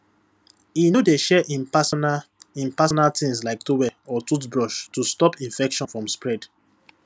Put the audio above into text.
e no dey share im personal im personal things like towel or toothbrush to stop infection from spread